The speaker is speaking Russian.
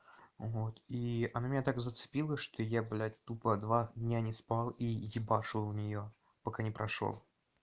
вот и она меня так зацепила что я блядь тупо два дня не спал и ебашил в неё пока не прошёл